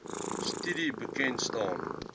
studie bekend staan